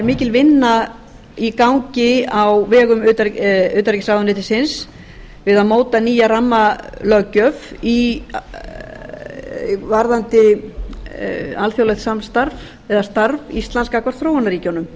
mikil vinna í gangi á vegum utanríkisráðuneytisins við að móta nýja rammalöggjöf varðandi alþjóðlegt samstarf eða starf íslands gagnvart þróunarríkjunum